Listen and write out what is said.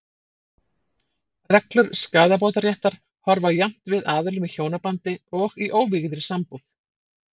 Reglur skaðabótaréttar horfa jafnt við aðilum í hjónabandi og í óvígðri sambúð.